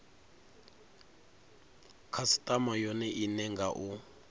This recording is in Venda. khasitama yone ine nga u